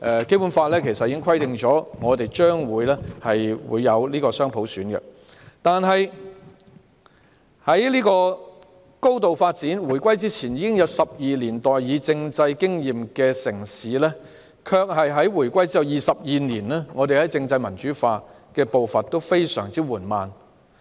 《基本法》早已訂明將會有雙普選，這個高度發展的城市，在回歸前已有12年代議政制經驗，但在回歸後22年來，政制民主化的步伐非常緩慢。